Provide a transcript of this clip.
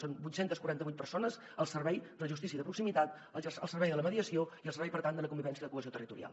són vuit cents i quaranta vuit persones al servei de la justícia de proximitat al servei de la mediació i al servei per tant de la convivència i la cohesió territorial